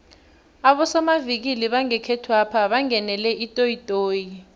abosomavikili bangekhethwapha bangenele itoyitoyi